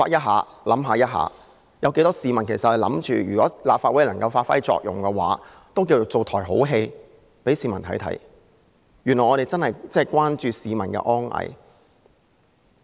許多市民也在想，如果立法會能夠發揮作用，也算是為市民上演了一場好戲，原來議員真的關注市民的安危。